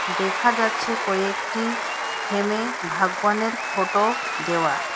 দেখা যাচ্ছে কয়েকটি ফ্রেমে ভাগবানের ফটো দেওয়া।